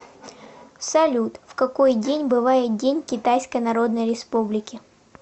салют в какой день бывает день китайской народной республики